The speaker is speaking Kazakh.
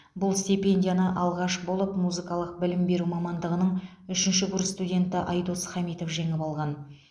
бұл стипендияны алғаш болып музыкалық білім беру мамандығының үшінші курс студенті айдос хамитов жеңіп алған